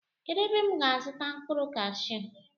Kedụ ebe m ga azuta mkpụrụ kashuu?